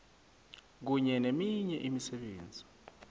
kunye neminye imisebenzi